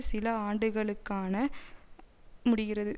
சில ஆண்டுகழுக் காண முடிகிறது